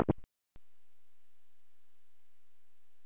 Þessi veröld sem enginn samanburður hafði rofið gat á.